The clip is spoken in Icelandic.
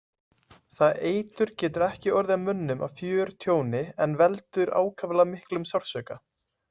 Það eitur getur ekki orðið mönnum að fjörtjóni en veldur ákaflega miklum sársauka.